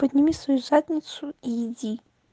подними свою задницу и иди